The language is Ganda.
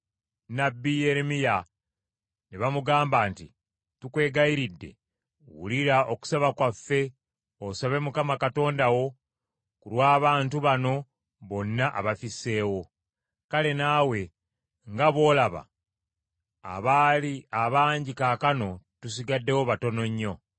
nnabbi Yeremiya ne bamugamba nti, “Tukwegayiridde, wulira okusaba kwaffe osabe Mukama Katonda wo ku lw’abantu bano bonna abafisseewo. Kale naawe nga bw’olaba, abaali abangi kaakano tusigaddewo batono nnyo.